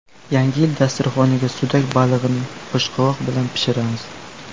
Yangi yil dasturxoniga sudak balig‘ini oshqovoq bilan pishiramiz.